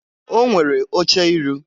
O nwere oche iru.